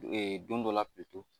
don dɔ la